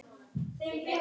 Það getur tekið frá